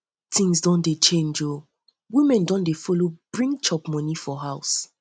tins don change o women don dey follow bring chop moni for house